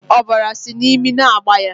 Ọbara sị n'imi na-agba ya